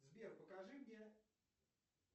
сбер покажи мне